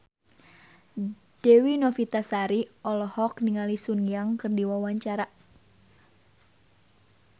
Dewi Novitasari olohok ningali Sun Yang keur diwawancara